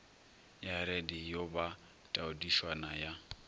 ya radio ba taodišwana ya